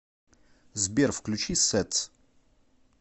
сбер включи сэтс